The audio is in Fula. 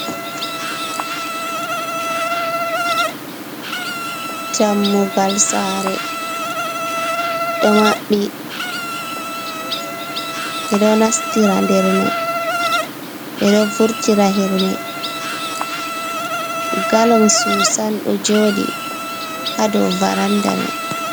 Dammugal saare ɗo maɓɓe ɓe ɗo nastira hermay, ɓe ɗo vurtira hermay , gallong suusan ɗo jooɗi haa dow varannda may.